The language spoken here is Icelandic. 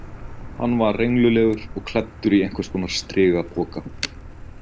Hann var renglulegur og klæddur í einhverskonar strigapoka.